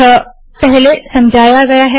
यह पहले समझाया गया है